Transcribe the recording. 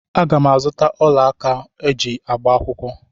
Aga m azụta ọla aka ha ga-eji agba akwụkwọ.